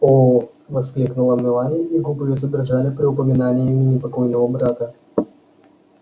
о воскликнула мелани и губы её задрожали при упоминании имени покойного брата